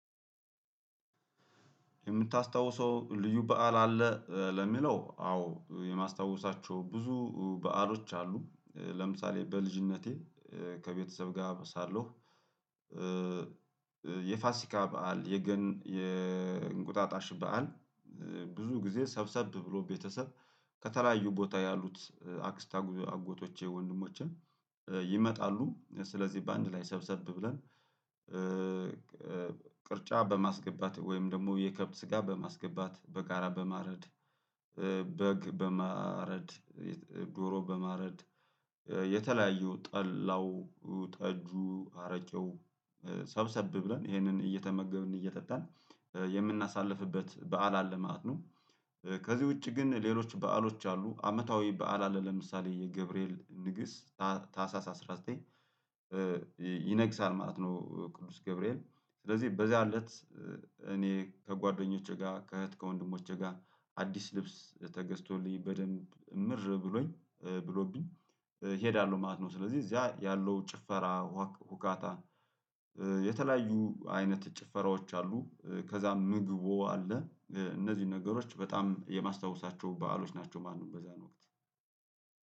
የምታስታውሰው ልዩ በዓል አለ። ለሚለው አዎ የማስታውሳቸው ብዙ በዓሎች አሉ ለምሳሌ በልጅነቴ ከቤተሰብ ጋር ሳለሁ። የፋሲካ በዓል የገና የእንቁጣጣሽ በዓል ብዙ ጊዜ ሰብሰብ ብሎ ቤተሰብ ከተለያዩ ቦታ ያሉት አክስት አጎቶቼ ወንድሞቼን። ስለዚህ በአንድ ላይ ሰብሰብ ብለን ቅርጫ በማስገባት ወይም ደግሞ የከብት ስጋ በማስገባት በጋራ በማረድ በግ በማረድ ዶሮ በማረድ የተለያየው ጠላው ጠጁ አረቀው ሰብሰብ ብለን ይሄንን እየተመገብን እየጠጣን የምናሳልፍበት በዓል አለ ማለት ነው። ከዚህ ውጪ ግን ሌሎች በዓሎች አሉ አመታዊ በዓላለ ለምሳሌ የገብርኤል ንግስ ታህሳስ አስራ ዘጠኝ ይነግሳል ማለት ነው። ቅዱስ ገብርኤል ስለዚህ በዚያ እለት እኔ ከጓደኞቼ ጋር ከእህት ከወንድሞቼ ጋር አዲስ ልብስ ተገዝቶልኝ በደንብ እምር ብሎኝ ብሎብኝ እሄዳለሁ ማለት ነው። ስለዚህ እዚያ ያለው ጭፈራ ሁካታ። የተለያዩ አይነት ጭፈራዎች አሉ ከዛም ምግቡ አለ። እነዚህን ነገሮች በጣም የማስታውሳቸው በዓሎች ናቸው ማለት ነው። በዛን ወቅት